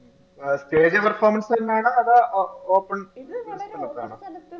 ആ stage performance തന്നെയാണോ അതോ ഓ open സ്ഥലത്താണോ?